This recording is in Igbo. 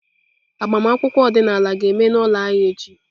Agbamakwụkwọ ọdịnala ga-eme n'ụlọ anyị echi.